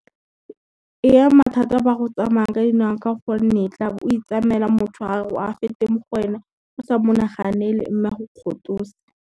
E ama thata ba go tsamaya ka dinao ka gonne, tla be o itsamela motho a fete mo go wena o sa monaganele mme a go kgotose.